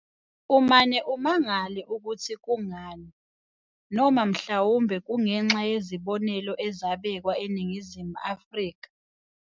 Umane umangale ukuthi kungani, noma mhlawumbe kungenxa yezibonelo ezabekwa eNingizimu Afrika.